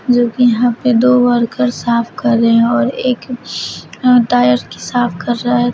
जो कि यहां पे दो वर्कर साफ कर रहे हैं और एक टायर की साफ कर रहा है।